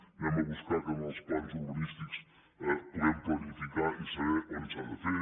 anem a buscar que en els plans urbanístics puguem planificar i saber on s’ha de fer